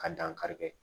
Ka dankari kɛ